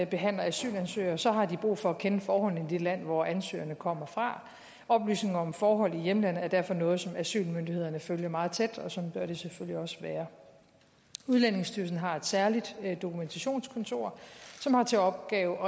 behandler asylansøgere så har de brug for at kende forholdene i det land hvor ansøgerne kommer fra oplysninger om forhold i hjemlandet er derfor noget som asylmyndighederne følger meget tæt og sådan bør det selvfølgelig også være udlændingestyrelsen har et særligt dokumentationskontor som har til opgave